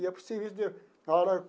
Ia para o serviço de.